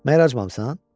Məgər acmamısan?